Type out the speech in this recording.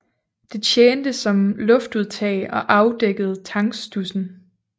Det tjente som luftudtag og afdækkede tankstudsen